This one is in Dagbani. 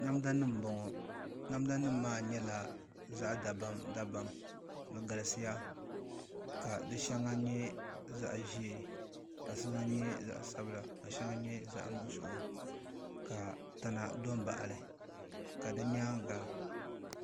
Namda nim n bɔŋɔ namda nim maa nyɛla zaɣ dabam dabam di galisiya ka di shɛŋa nyɛ zaɣ ʒiɛ ka shɛŋa nyɛ zaɣ sabila ka shɛŋa nyɛ zaɣ nuɣso ka tana do n baɣali ka di nyaanga